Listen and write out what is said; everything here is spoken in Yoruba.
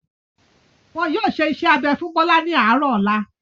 Wọn yóò ṣe iṣẹ́-abẹ fún Bọ́lá ní àárọ̀ ọ̀la.